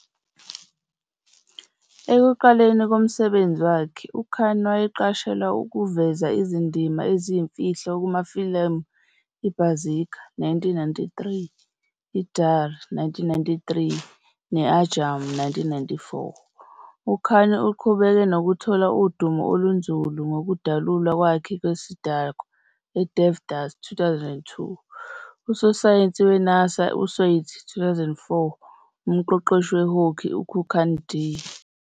Ekuqalekeni komsebenzi wakhe, uKhan wayeqashelwa ukuveza izindima eziyimfihlo kumafilimu iBaazigar, 1993, Darr, 1993, ne-Anjaam, 1994. UKhan uqhubeke nokuthola udumo olunzulu ngokudalulwa kwakhe kwesidakwa eDevdas, 2002, usosayensi weNASA eSwades, 2004, umqeqeshi we-hockey kuKhak De!